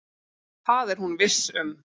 Það er hún viss um.